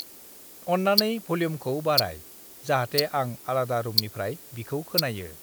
अन्नानै भल्युमखौ बाराय जाहाथे आं आलादा रुमनिफ्राय बिखौ खोनायो।